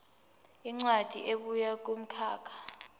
incwadi ebuya kumkhakha